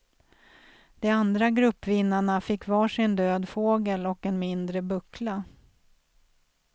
De andra gruppvinnarna fick var sin död fågel och en mindre buckla.